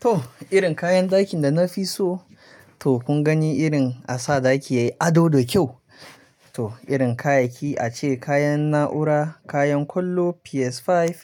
To irin kayan ɗakin da na fi so, to kun gani irin a sa ɗaki yayi ado da kyau. To irin kayayyaki a ce kayan na'ura, kayan kallo, PS5,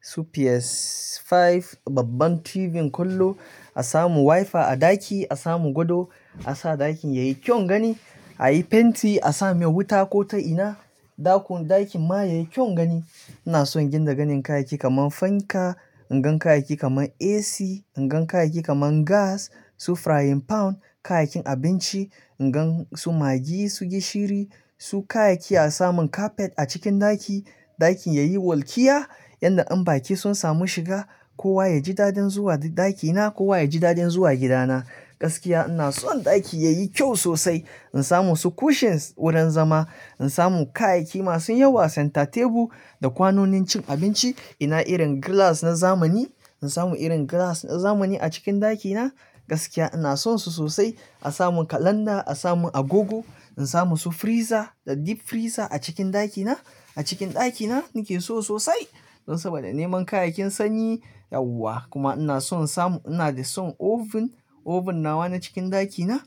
su PS5, babban TV kallo, a samu WiFi a ɗaki, a samu gado, a sa ɗakin yayi kyau gani, a yi fenti, a sa mai wuta ko ta ina, ɗakun-- ɗakin ma yayi kyaun gani. Ina son gina ganin kayayyaki kaman fanka, inga kayayyaki kaman AC, ingan kayayyaki kaman gas, su frying pan, kayayyakin abinci, ingan su maggi, su gishiri, su kayayyaki a samun carpet a cikin ɗaki, ɗakin yayi walƙiya yanda in baƙi sun samu shiga, kowa yaji dadin zuwa daɗaki na, kowa yaji dadin zuwa gida na. Gaskiya ina son ɗaki yayi kyau sosai. In samu su cushions wurin zama, in samu kayayyaki masu yawa, center table da kwanonin cin abinci. Ina irin glass na zamani, in samu irin glass na zamani a cikin ɗaki na. Gaskiya ina son su sosai. A samun kalanda, a samun agogo, in samu su freezer da deep freezer a cikin ɗaki na. A cikin ɗaki na nike so sosai don saboda neman kayayyakin sanyi, yawwa kuma ina son in samu, ina da son oven, oven nawa na cikin ɗaki na.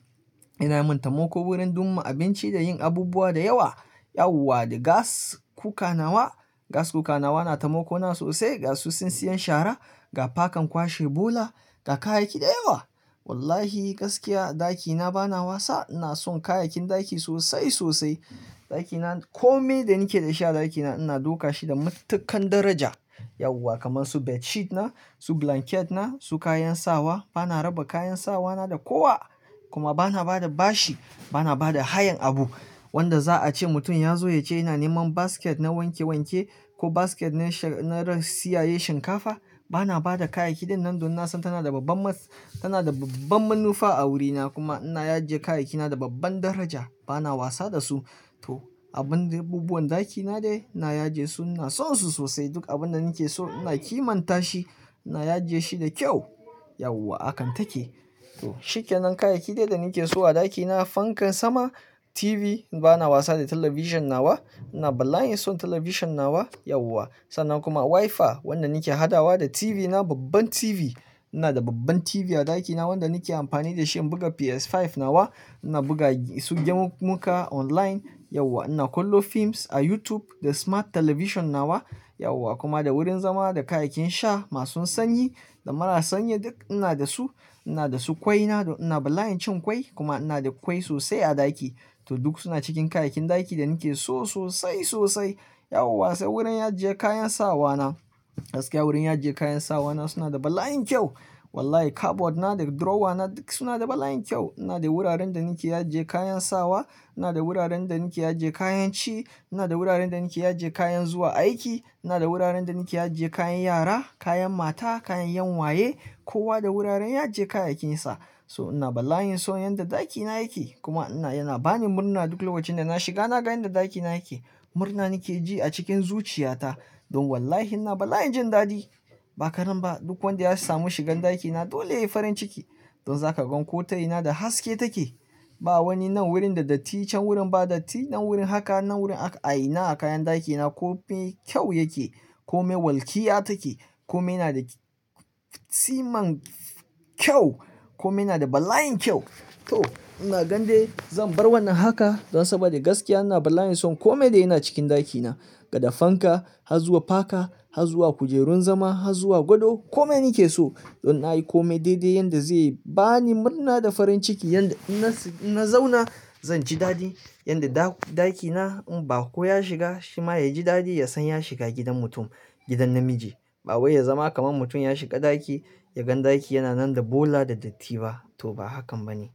Yana min tamoko wurin dumma abinci da yin abubuwa da yawa. Yawwa da gas cooker nawa, gas cooker nawa na taimako na sosai ga su tsintsiyan shara, ga pakan kwashe bola ga kayayyaki da yawa. Wallahi gaskiya ɗaki na bana wasa, ina son kayayyakin ɗaki sosai, sosai. Ɗaki na kome da nake da shi a ɗaki na ina dauka shi da matuƙan daraja. Yawwa kaman su bedsheet na, su blanket na, su kayan sawa bana raba kayan sawa na da kowa. Kuma bana ba da bashi, bana ba da hayan abu wanda za a ce mutum ya zo ya ce ina neman basket na wanke wanke ko basket na sha-- na tsiyaye shinkafa. Bana ba da kayayyaki din nan don na san tana da babban mat-- tana da banban manufa a wuri na kuma ina aje kayayyaki na da babban daraja. Bana wasa da su. To abun da abubuwan ɗaki na dai ina ya je su, ina son su sosai. Duk abun da nike so ina kimanta shi, ina aje shi da kyau. Yawwa hakan take. To shikenan kayayyaki dai da nike so a ɗaki na fankan sama, TV bana wasa da talabishin nawa. Ina bala'in son talabishin nawa, yawwa. Sannan kuma WiFi wanda nake hadawa da TV na, babban TV. Ina da babban TV a ɗaki na wanda nake amfani da shi in buga PS5 nawa. Ina buga su gemu-muka online, yawwa ina kallom films a YouTube da smart television nawa. Yawwa kuma da wurin zama, da kayayyakin sha masu sanyi da marasa sanyi duk ina da su. Ina da su kwai na da ina bala'in cin kwai kuma ina da kwai sosai a ɗaki. To duk suna cikin kayayyakin ɗaki da nake so sosai, sosai. Yawwa sai wurin ajiye kayan sawa na. Gaskiya wurin ya je kayan sawa na suna da bala'in kyau. Wallahi cupboard na da drawer na duk suna da bala'in kyau. Ina da wuraren da nike ajiye kayan sawa, ina da wuraren da na nike ajiye kayan ci, ina da wuraren da nike ajiye kayan zuwa aiki, ina da wuraren da nike ajiye kayan yara, kayan mata, kayan yan'uwaye, kowa da wuraren ajiye kayayyakin sa. So ina bala'in so yanda ɗaki na yake kuma ina, yana bani murna duk lokacin da na shiga na ga yanda ɗaki na yake. Murna nike ji a cikin zuciya ta don wallahi ina bala'in jin dadi. Ba kadan ba duk wanda ya samu shigan ɗaki na dole ya yi farin ciki. Don zaka gan ko ta'ina da haske take. Ba wani nan wurin da datti, can wurin ba datti, nan wurin haka, nan wurin a-- a ina a kayan ɗaki na kome kyau yake. Kome walƙiya take. Kome yana da tsiman kyau. Kome yana da bala'in kyau. To ina gande zan bar wannan haka don saboda gaskiya ina bala'in son kome da yana cikin ɗaki na. Daga fanka har zuwa paka har zuwa kujerun zama har zuwa gado, kome nake so. Don na yi kome daidai yanda zai bani murna da farin ciki yanda ina s--in na zauna zan ji dadi. Yanda da-ɗaki na in baƙo ya shiga shi ma ya ji dadi ya san ya shiga gidan mutum, gidan namiji. Ba wai ya zama kaman mutum ya shiga ɗaki ya gan ɗaki yana nan da bola da datti ba. To ba hakan ba ne.